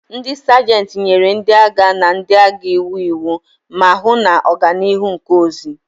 Ndị Sajentị nyere ndị agha na ndị agha iwu iwu, ma hụ na oganihu nke ozi.